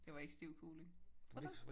Det var ikke stiv kuling. Tror du?